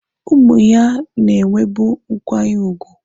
Ụmụ ya na-enwebu nkwanye ùgwù.